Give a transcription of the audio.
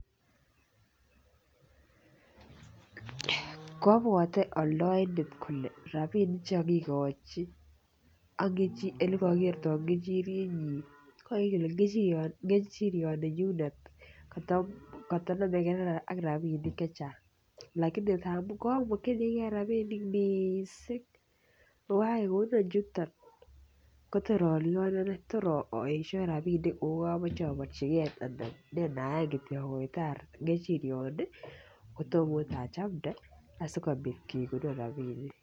Kobwote aldaindet kole rabinik Che kogikochi ak Ole kagertoi kechirienyi ko ingen ile kechirioninyun ko koto nomegei ak rabinik chechang lakini ngab ko mokyingei rabisiek mising ako kagegonon niton kotor alyonen tor aesio rabinik ne neyaan Kityo agoitoi kechirioni kotom okot achamde asikobit kegonon rabinik